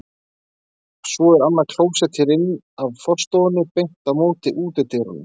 Svo er annað klósett hér inn af forstofunni, beint á móti útidyrunum.